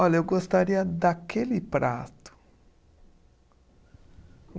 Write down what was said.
Olha, eu gostaria daquele prato.